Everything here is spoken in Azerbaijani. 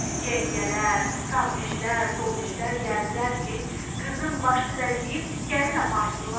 Yengələr, sağ dişlər, sol dişlər gəldilər ki, qızın başını bəzəyib gəlin aparsınlar?